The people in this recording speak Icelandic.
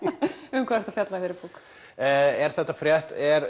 um hvað ertu að fjalla í þeirri bók er þetta frétt er